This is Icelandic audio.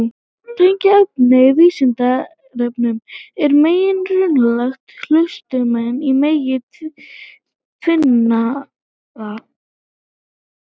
Tengt efni á Vísindavefnum: Er mengi rauntalna hlutmengi í mengi tvinntalna?